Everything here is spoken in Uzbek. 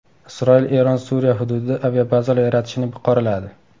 Isroil Eron Suriya hududida aviabazalar yaratishini qoraladi.